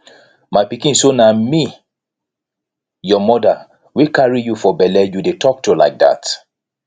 my pikin so na me your mother wey carry you for bele you dey talk to like dat